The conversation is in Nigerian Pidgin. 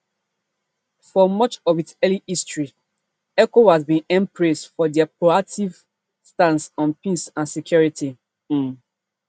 for much of its early history ecowas bin earn praise for dia proactive stance on peace and security um